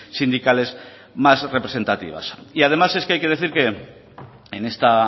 sindicales más representativas y además es que hay que decir que en esta